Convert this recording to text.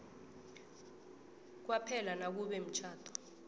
kwaphela nakube umtjhado